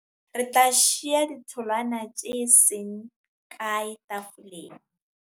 Re tla shiya ditholwana tse seng kae tafoleng.